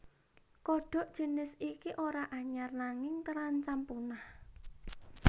Kodhok jinis iki ora anyar nanging terancam punah